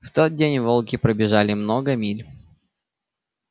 в тот день волки пробежали много миль